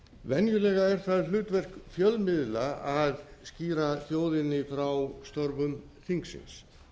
venjulega er það hlutverk fjölmiðla að skýra þjóðinni frá störfum þingsins